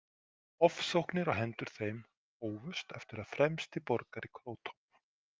Ofsóknir á hendur þeim hófust eftir að fremsti borgari Króton.